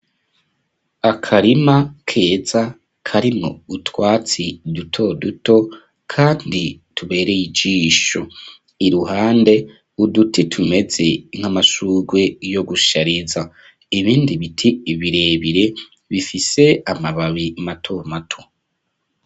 Akarima keza karimwo utwatsi duto duto kandi tubereye ijisho iruhande uduti tumeze nk'amashugwe yo gushariza ibindi biti ibirebire bifise amababi mato mato.